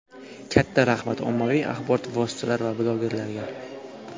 Katta rahmat, ommaviy axborot vositalari va blogerlarga.